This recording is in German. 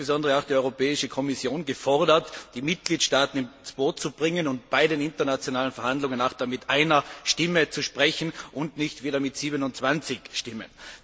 Hier ist insbesondere die Europäische Kommission gefordert, die Mitgliedstaaten ins Boot zu holen und bei den internationalen Verhandlungen nur mit einer Stimme zu sprechen und nicht wieder mit 27 Stimmen.